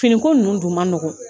Fini ko ninnu dun man nɔgɔn.